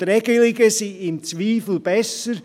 Und Regelungen sind im Zweifel besser.